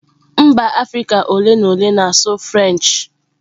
Mba Afirika ole na ole na-asụ French.